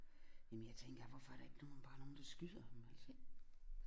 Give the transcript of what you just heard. Jamen jeg tænker hvorfor er der ikke nogen bare nogen der skyder ham altså